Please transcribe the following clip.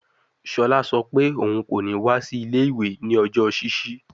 Shola sọ pe oun ko ni wa si ile-iwe ni ọjọ ṣiṣi